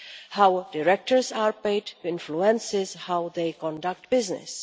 How directors are paid influences how they conduct business.